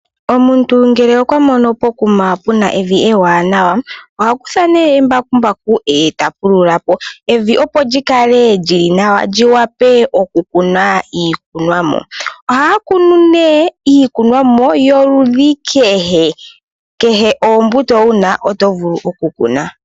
Omuntu ngele okwa moni pokuma pu na evi ewanawa, oha kutha ne embakumbaku, e ta pulula po. Evi opo li kale li li nawa, li wape oku kunwa iikunwa mo. Ohaa kunu nee iikunwa mo yoludhi kehe. Kehe oombuto wu na oto vulu oku kuna.